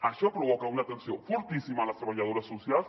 això provoca una tensió fortíssima a les treballadores socials